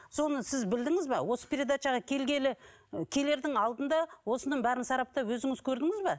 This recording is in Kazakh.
соны сіз білдіңіз бе осы передачаға келгелі келердің алдында осының бәрін сараптап өзіңіз көрдіңіз бе